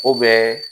O bɛ